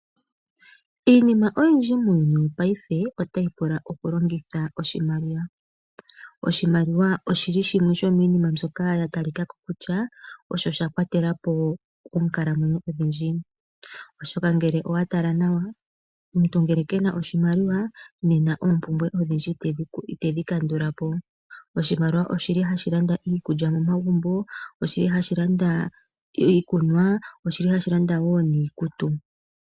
Iinima oyindji muuyuni payife otayi pula okulongitha oshimaliwa. Oshimaliwa oshili shimwe shomiinima mbyoka ya talikako kutya osho shakwatelapo oonkalamwenyo odhindji. Oshoka ngele owa tala nawa, omuntu ngele kena oshimaliwa nena oompumbwe odhindji itedhi kandulapo. Oshimaliwa oshili hashi landa iikulya momagumbo, oshili hashi landa iikunwa, oshili hashi landa woo niikutu.